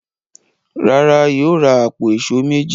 Rárá, Yóò ra àpò èṣó méjì.